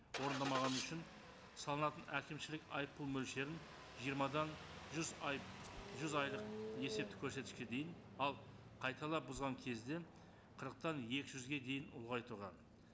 орындамағаны үшін салынатын әкімшілік айыппұл мөлшерін жиырмадан жүз айып жұз айлық есептік көрсеткішке дейін ал қайталап бұзған кезде қырықтан екі жүзге дейін ұлғайтылған